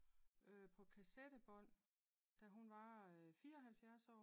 På kassette bånd da hun var 74 år